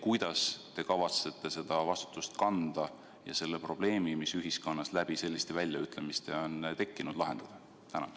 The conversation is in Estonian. Kuidas te kavatsete seda vastutust kanda ja selle probleemi, mis ühiskonnas selliste väljaütlemiste tõttu on tekkinud, lahendada?